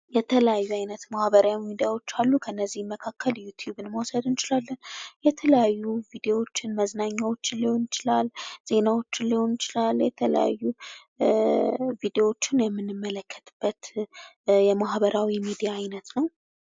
የተለያዩ አይነት ማህበራዊ ሚዲያዎች አሉ ከነዚህ መካከል ዩቱዩብን መውሰድ እንችላለን የተለያዩ ቪዲዮዎችን መዝናኛዎችን ሊሆን ይችላል ዜናዎችን ሊሆን ይችላል የተለያዩ ቪዲዮዎችን የምንመለከትበት የማህበራዊ ሚዲያ አይነት ነው።